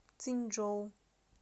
циньчжоу